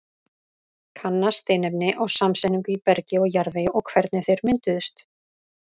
Kanna steinefni og samsetningu í bergi og jarðvegi og hvernig þeir mynduðust.